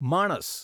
માણસ